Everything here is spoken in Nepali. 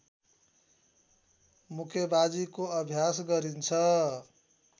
मुक्केबाजीको अभ्यास गरिन्छ